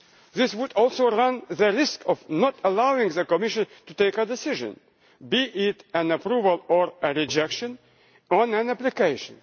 This would also run the risk of not allowing the Commission to take a decision, be it an approval or a rejection, on an application.